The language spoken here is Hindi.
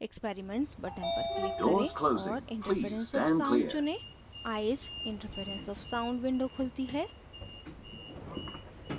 experiments button पर click करें और interference of sound चुनें